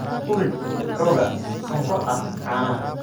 Ku rid xoogaa sonkor ah caanaha.